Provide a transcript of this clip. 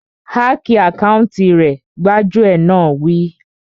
Háki àkáùntì rẹ̀! Gbájúẹ̀ náà wí